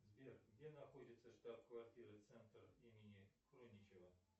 сбер где находится штаб квартира центр имени хруничева